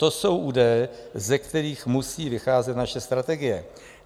To jsou údaje, ze kterých musí vycházet naše strategie.